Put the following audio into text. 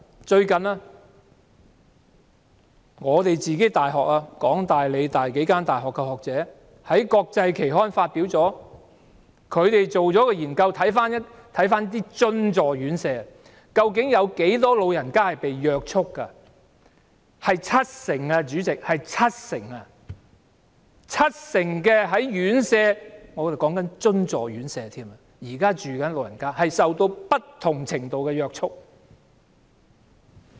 最近，香港大學、香港理工大學等數間大學的學者在國際期刊發表他們對津助院舍進行的研究調查，究竟有多少長者被約束，結果是七成，代理主席，是七成，有七成住在院舍的長者——現在指的是津助院舍——受到不同程度的約束。